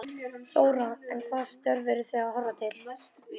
Þóra: En hvaða störf eru þið að horfa til?